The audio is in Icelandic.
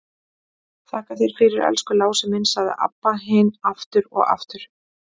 Þakka þér fyrir, elsku Lási minn, sagði Abba hin aftur og aftur.